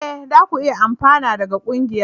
E! za ku iya amfana daga ƙungiyar.